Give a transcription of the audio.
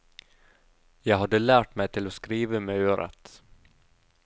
Jeg hadde lært meg til å skrive med øret.